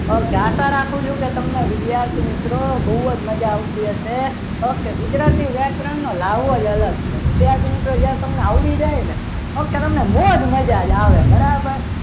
okay આશા રાખું છું કે તમને વિદ્યાર્થી મિત્રો બહુ જ મજા આવતી હશે ઓકે ગુજરાતી વ્યાકરણનો લાહવો અલગ છે વિદ્યાર્થી મિત્રો જે આ તમને આવડી જાય ને okay તમને મોજ મજા જ આવે બરાબર